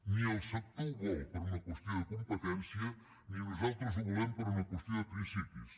ni el sector ho vol per una qüestió de competència ni nosaltres ho volem per una qüestió de principis